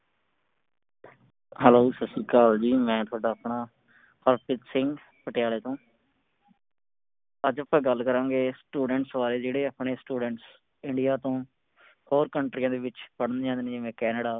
hello Sat Sri Akal ਜੀ ਮੈਂ ਤੁਹਾਡਾ ਆਪਣਾ ਹਰਪ੍ਰੀਤ ਸਿੰਘ ਪਟਿਆਲੇ ਤੋਂ। ਅੱਜ ਅੱਪਾ ਗੱਲ ਕਰਾਂਗੇ students ਬਾਰੇ। ਜਿਹੜੇ ਆਪਣੇ students India ਤੋਂ ਹੋਰ ਕੰਟਰੀਆਂ ਦੇ ਵਿਚ ਪੜ੍ਹਨ ਜਾਂਦੇ ਨੇ ਜਿਵੇ ਕੈਨੇਡਾ